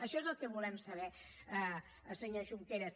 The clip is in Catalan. això és el que volem saber senyor junqueras